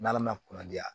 N'ala ma kunadiya